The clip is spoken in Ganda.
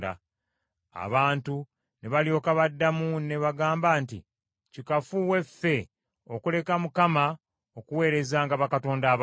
Abantu ne balyoka baddamu ne bagamba nti, “Kikafuuwe ffe okuleka Mukama okuweerezanga bakatonda abalala.